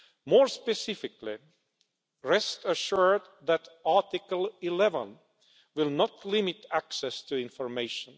More specifically, rest assured that Article 11 will not limit access to information.